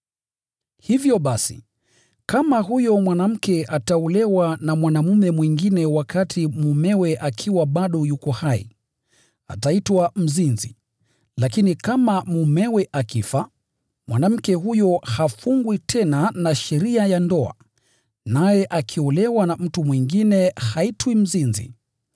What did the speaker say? Hivyo basi, kama huyo mwanamke ataolewa na mwanaume mwingine wakati mumewe akiwa bado yuko hai, ataitwa mzinzi. Lakini kama mumewe akifa, mwanamke huyo hafungwi tena na sheria ya ndoa, naye akiolewa na mtu mwingine haitwi mzinzi.